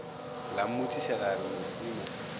la mmotšiša la re mosima